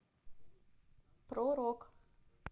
про рок